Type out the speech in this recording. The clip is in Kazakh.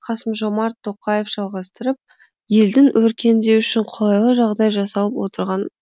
қасым жомарт тоқаев жалғастырып елдің өркендеуі үшін қолайлы жағдай жасалып отырған